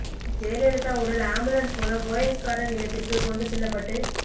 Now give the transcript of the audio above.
ஜெயலலிதா உடல் ஆம்புலன்ஸ் மூலம் போயஸ் கார்டன் இல்லத்திற்கு கொண்டு செல்லப்பட்டு